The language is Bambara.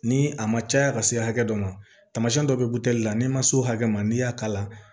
Ni a ma caya ka se hakɛ dɔ ma tamasiyɛn dɔ bɛ butɛli la n'i ma se o hakɛ ma n'i y'a k'a la